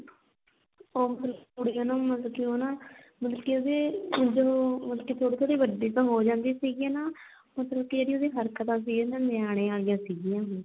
ਉਹ ਫਿਰ ਕੁੜੀ ਹਨਾ ਮਤਲਬ ਕੀ ਹਨਾ ਮਤਲਬ ਕੀ ਉਹਦੇ ਉਸਦੇ ਮਤਲਬ ਕੀ ਉਹ ਵਡੀ ਤਾਂ ਹੋ ਜਾਂਦੀ ਆ ਸੀਗੀ ਨਾ ਮਤਲਬ ਕੀ ਜਿਹੜੀ ਉਹਦੀ ਹਰਕਤਾਂ ਸੀ ਨਾ ਨਿਆਣੇ ਆਲੀਆਂ ਸੀਗੀਆਂ